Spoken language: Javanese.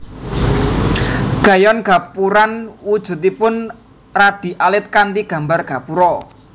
Kayon Gapuran wujudipun radi alit kanthi gambar gapura